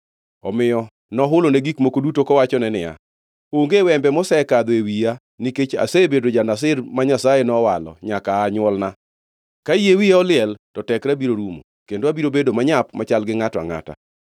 Omiyo nohulone gik moko duto kowachone niya, “Onge wembe mosekadho e wiya nikech asebedo ja-Nazir ma Nyasaye nowalo nyaka aa nywolna. Ka yie wiya oliel, to tekra biro rumo, kendo abiro bedo manyap machal gi ngʼato angʼata.”